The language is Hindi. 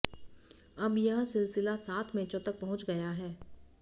अब यह सिलसिला सात मैचों तक पहुंच गया है